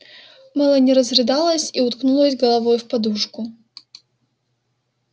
мелани разрыдалась и уткнулась головой в подушку